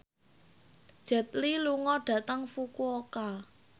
Jet Li lunga dhateng Fukuoka